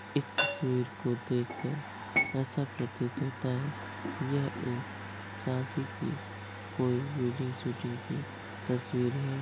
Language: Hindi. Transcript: इस तस्वीर को देखकर ऐसा प्रतीत होता है। यह एक शादी की कोई वेडिंग शूटिंग की तस्वीर है।